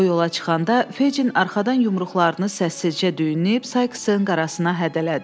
O yola çıxanda Fejin arxadan yumruqlarını səssizcə düyünləyib Saiksın qarasına hədələdi.